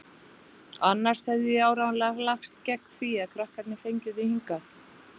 Annars hefði ég áreiðanlega lagst gegn því að krakkarnir fengju þig hingað.